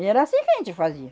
E era assim que a gente fazia.